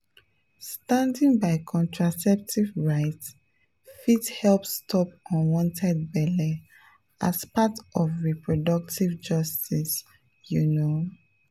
standing by contraceptive rights fit help stop unwanted belle as part of reproductive justice you know?